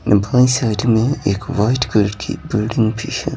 भाए साइड में एक वाइट कलर की बिल्डिंग भी है।